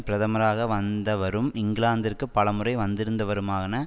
பிரதமராக வந்தவரும் இங்கிலாந்திற்கு பல முறை வந்திருந்தவருமான